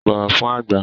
Bọ̀wọ̀ fün àgbà!